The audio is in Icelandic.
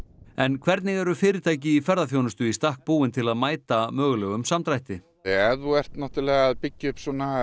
en hvernig eru fyrirtæki í ferðaþjónustu í stakk búin til að mæta mögulegum samdrætti ef þú ert að byggja upp